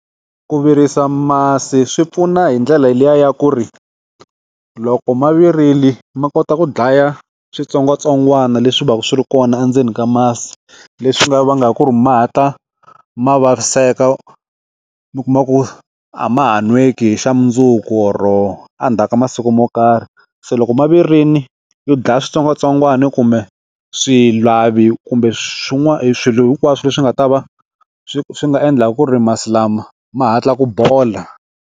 Ku virisa masi swi pfuna hi ndlela liya ya ku ri loko mavirile ma kota ku dlaya switsongwatsongwana leswi va ku swi ri kona endzeni ka masi leswi nga va nga ku mahatla ku vaviseka mi kuma ku a ma ha nweki hi xa mundzuku or-o endzhaku ka masiku mo karhi se loko mavirini yo dlaya switsongwatsongwana yo kumbe swi lavi kumbe swin'wana swilo hinkwaswo leswi nga ta va swi swi nga endlaka ku ri masi lama ma hatla ku bola.